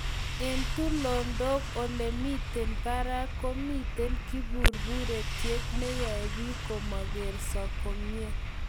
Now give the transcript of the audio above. eng tulondok, olemiten barak komiten kiburutyet neyoe biik komagerso komnyei